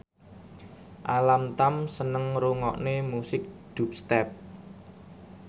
Alam Tam seneng ngrungokne musik dubstep